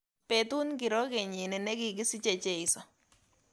Betut ngiro kenyini negigisiche cheiso